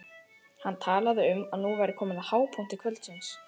Hann talaði um að nú væri komið að hápunkti kvöldsins.